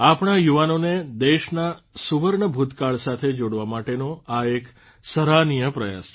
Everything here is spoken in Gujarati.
આપણા યુવાનોને દેશના સુવર્ણ ભૂતકાળ સાથે જોડવા માટેનો આ એક સરાહનીય પ્રયાસ છે